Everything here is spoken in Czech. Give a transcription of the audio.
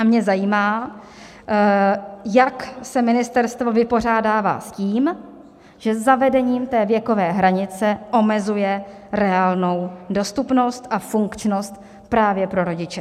A mě zajímá, jak se ministerstvo vypořádává s tím, že zavedením té věkové hranice omezuje reálnou dostupnost a funkčnost právě pro rodiče.